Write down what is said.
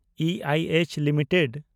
ᱤᱟᱭᱮᱪ limited